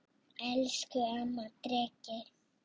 Elsku amma Dreki.